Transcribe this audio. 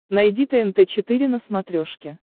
найди тнт четыре на смотрешке